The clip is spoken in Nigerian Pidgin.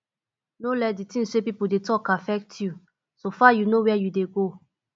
no let di things wey pipo dey talk affect you so far you know where you dey go